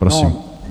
Prosím.